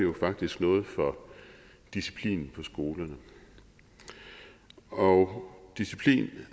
faktisk noget for disciplinen på skolerne og disciplin